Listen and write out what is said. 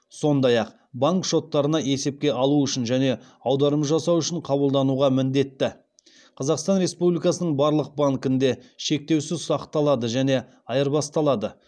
сондай ақ банк шоттарына есепке алу үшін және аударым жасау үшін қабылдануға міндетті қазақстан республикасының барлық банкінде шектеусіз ұсақталады және айырбасталады